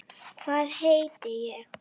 Hvað heiti ég?